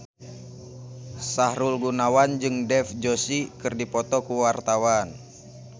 Sahrul Gunawan jeung Dev Joshi keur dipoto ku wartawan